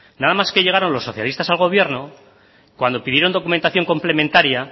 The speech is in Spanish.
nada más que llegaron los socialistas al gobierno cuando pidieron documentación complementaria